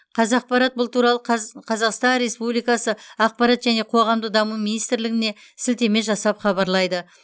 қазақпарат бұл туралы қаз қазақстан республикасы ақпарат және қоғамдық даму министрлігіне сілтеме жасап хабарлайды